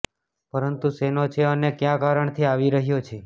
પરંતુ શેનો છે અને કયા કારણ થી આવી રહયો છે